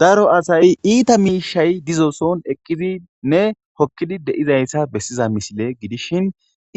daro asay iita miishay dizooson eqqiziinne hokkidi deizayssa bessiza misile gidishin